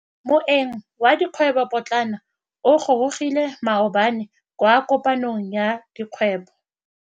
Moêng wa dikgwêbô pôtlana o gorogile maabane kwa kopanong ya dikgwêbô.